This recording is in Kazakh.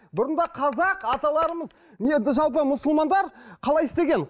бұрында қазақ аталарымыз жалпы мұсылмандар қалай істеген